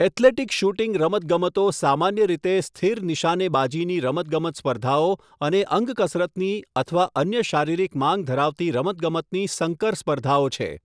Athletic shooting રમતગમતો સામાન્ય રીતે સ્થિર નિશાનેબાજીની રમતગમત સ્પર્ધાઓ અને અંગકસરતની અથવા અન્ય શારીરિક માંગ ધરાવતી રમતગમતની સંકર સ્પર્ધાઓ છે.